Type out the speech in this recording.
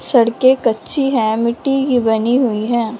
सड़के कच्ची हैं मिट्टी की बनी हुई हैं।